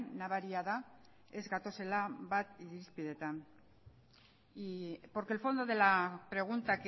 nabaria da ez gatozela bat irizpideetan porque el fondo de la pregunta